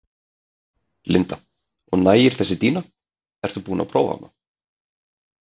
Linda: Og nægir þessi dýna, ert þú búin að prófa hana?